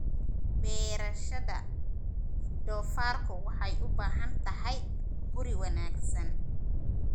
Beerashada doofaarku waxay u baahan tahay guri wanaagsan.